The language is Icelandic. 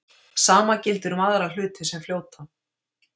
sama gildir um aðra hluti sem fljóta